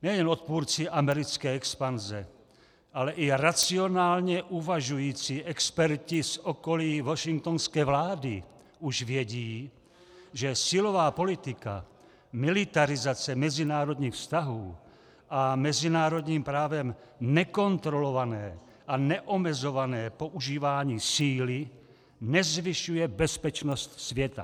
Nejen odpůrci americké expanze, ale i racionálně uvažující experti z okolí washingtonské vlády už vědí, že silová politika, militarizace mezinárodních vztahů a mezinárodním právem nekontrolované a neomezované používání síly nezvyšuje bezpečnost světa.